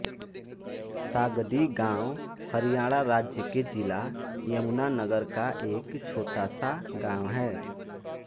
सागडी गाँव हरियाणा राज्य के जिला यमुनानगर का एक छोटा सा गाँव है